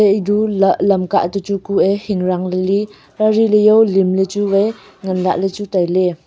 idu la lamka to chu kue hingran li lingla chu vai nganla ley chu tailey.